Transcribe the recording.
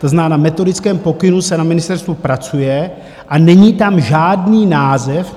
To znamená: na metodickém pokynu se na ministerstvu pracuje a není tam žádný název.